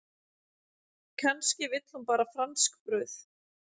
Kannski vill hún bara franskbrauð.